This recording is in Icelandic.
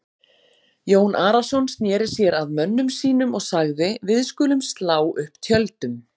Jón Arason sneri sér að mönnum sínum og sagði:-Við skulum slá upp tjöldum.